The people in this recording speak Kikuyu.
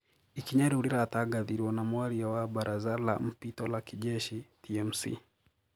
Ikinya riu riratagathirwo na mwaria wa Baraza la Mpito la Kijeshi(TMC)